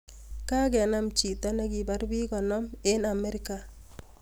Kakenam chito ne kibar pik konom ing america.